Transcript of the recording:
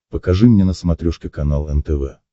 покажи мне на смотрешке канал нтв